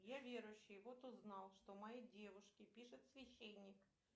я верующий вот узнал что моей девушке пишет священник